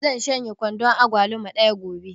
Zan shanye kwandon agwaluma ɗaya gobe